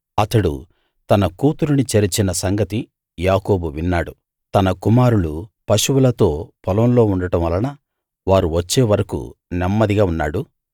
అతడు తన కూతురిని చెరిచిన సంగతి యాకోబు విన్నాడు తన కుమారులు పశువులతో పొలంలో ఉండడం వలన వారు వచ్చే వరకూ నెమ్మదిగా ఉన్నాడు